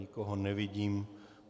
Nikoho nevidím.